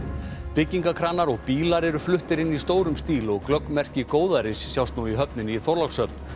byggingarkranar og bílar eru fluttir inn í stórum stíl og glögg merki góðæris sjást nú í höfninni í Þorlákshöfn